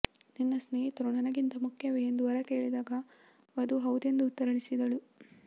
ನಿನ್ನ ಸ್ನೇಹಿತರು ನನಗಿಂತ ಮುಖ್ಯವೇ ಎಂದು ವರ ಕೇಳಿದಾಗ ವಧು ಹೌದೆಂದು ಉತ್ತರಿಸಿದಳು